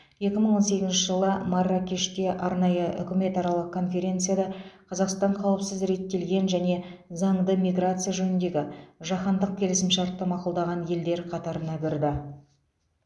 екі мың он сегізінші жылы марракеште арнайы үкіметаралық конференцияда қазақстан қауіпсіз реттелген және заңды миграция жөніндегі жаһандық келісімшартты мақұлдаған елдер қатарына кірді